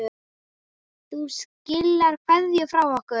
Þú skilar kveðju frá okkur.